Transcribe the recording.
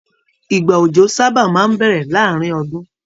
Ìgbà òjò sábà máa n bẹrẹ láàrin ọdún.